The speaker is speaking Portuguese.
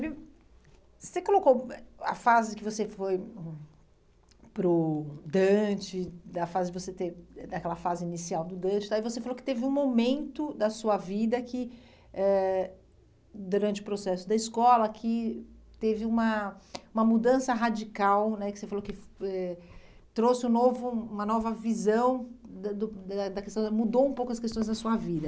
hum Você colocou a fase que você foi hum para o Dante, da fase de você ter, daquela fase inicial do Dante e tal, e você falou que teve um momento da sua vida que, eh durante o processo da escola, que teve uma uma mudança radical né, que você falou que eh trouxe um novo uma nova visão, mudou um pouco as questões da sua vida.